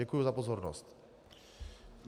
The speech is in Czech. Děkuji za pozornost.